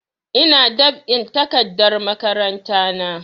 Ina dab'in takardar makaranta na